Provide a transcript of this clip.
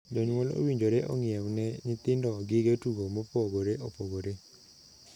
Jonyuol owinjore ong'iewne nyithindo gige tugo mopogoreopogore.